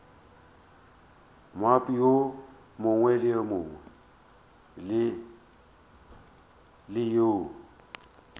moabi yo mongwe le yo